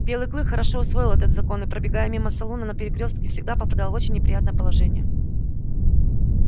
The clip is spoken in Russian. белый клык хорошо усвоил этот закон и пробегая мимо салуна на перекрёстке всегда попадал в очень неприятное положение